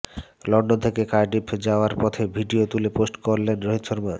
London থেকে Cardiff যাওয়ার পথে ভিডিও তুলে পোস্ট করলেন রোহিত শর্মা